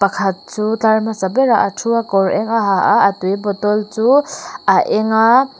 pakhat chu tlar hmasa berah a thu a kawr eng a ha a a tui bottle chu a eng a.